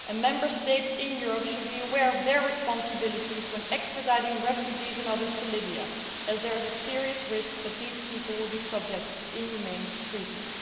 Member States in Europe should be aware of their responsibilities when extraditing refugees and others to Libya, as there is a serious risk that these people will be subject to inhumane treatment.